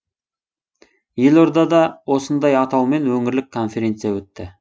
елордада осындай атаумен өңірлік конференция өтті